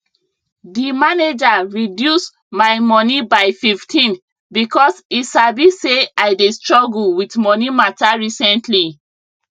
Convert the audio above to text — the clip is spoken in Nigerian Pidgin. d manager reduce my moni by 15 because e sabi say i dey struggle with moni matter recently